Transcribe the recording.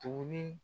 Tuguni